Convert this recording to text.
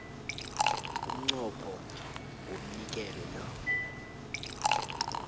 umnqopho womnikelo lo